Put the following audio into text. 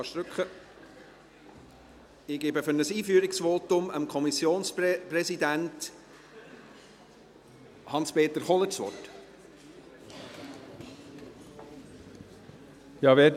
Ich gebe für ein Einführungsvotum Kommissionspräsident Hans-Peter Kohler das Wort.